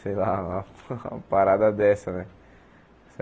Sei lá, uma uma parada dessa, né?